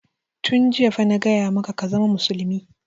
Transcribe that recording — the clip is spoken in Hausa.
Tun jiya fa na gaya maka ka zama musulmi!